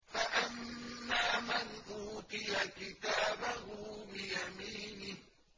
فَأَمَّا مَنْ أُوتِيَ كِتَابَهُ بِيَمِينِهِ